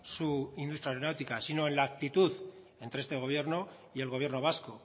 su industria aeronáutica sino en la actitud entre este gobierno y el gobierno vasco